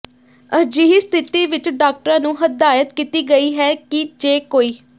ਅਜਿਹੀ ਸਥਿਤੀ ਵਿੱਚ ਡਾਕਟਰਾਂ ਨੂੰ ਹਦਾਇਤ ਕੀਤੀ ਗਈ ਹੈ ਕਿ ਜੇ ਕੋਈ